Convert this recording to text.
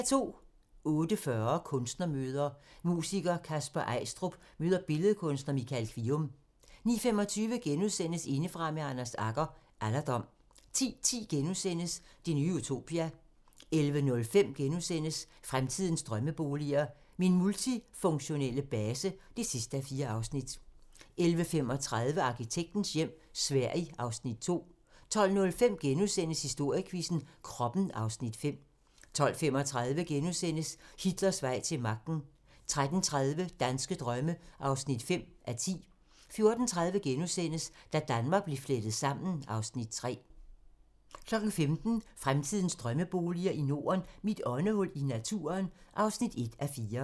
08:40: Kunstnermøder: Musiker Kasper Eistrup møder billedkunstner Michael Kvium 09:25: Indefra med Anders Agger - Alderdom * 10:10: Det nye utopia * 11:05: Fremtidens drømmeboliger: Min multifunktionelle base (4:4)* 11:35: Arkitektens hjem - Sverige (Afs. 2) 12:05: Historiequizzen: Kroppen (Afs. 5)* 12:35: Hitlers vej til magten * 13:30: Danske drømme (5:10) 14:30: Da Danmark blev flettet sammen (Afs. 3)* 15:00: Fremtidens drømmeboliger i Norden: Mit åndehul i naturen (1:4)